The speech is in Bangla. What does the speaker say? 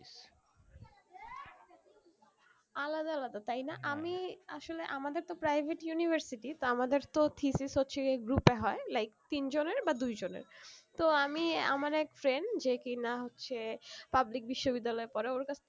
আলাদা আলাদা তাই না আমি আসলে আমাদের তো private university তো আমাদের তো thesis হচ্ছে কি group এ হয়ে like তিন জনের বা দুই জনের তো আমি আমার এক friend যে কি না সে public বিশ্ব বিদ্যালয়ে পড়ে ওর কাছ থেকে